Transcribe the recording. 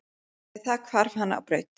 Með það hvarf hann á braut.